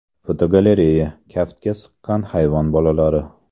Fotogalereya: Kaftga sig‘gan hayvon bolalari.